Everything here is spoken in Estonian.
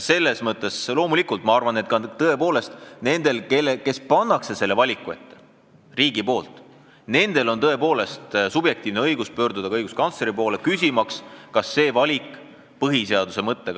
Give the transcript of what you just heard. Selles mõttes loomulikult ma arvan, et tõepoolest nendel, kelle riik selle valiku ette paneb, on subjektiivne õigus pöörduda ka õiguskantsleri poole, küsimaks, kas see valik on kooskõlas põhiseaduse mõttega.